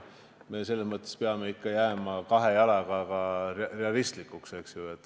Me peame ikkagi jääma kahe jalaga maa peale, eks ju.